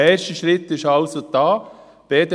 Ein erster Schritt wurde somit getan.